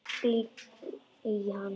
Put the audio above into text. Glittir í hann.